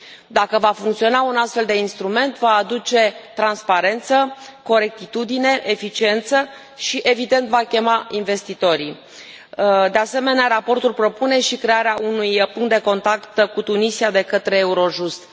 Dacă va funcționa un astfel de instrument, va aduce transparență, corectitudine, eficiență și, evident, va chema investitorii. De asemenea, raportul propune și crearea unui punct de contact cu Tunisia de către Eurojust.